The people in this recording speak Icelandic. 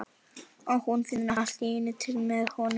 Og hún finnur allt í einu til með honum.